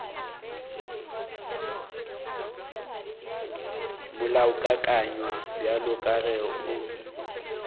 molaokakanywa bjalo ka ge o